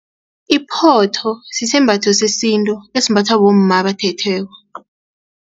Iphotho sisembatho sesintu esimbathwa bomma abathethweko.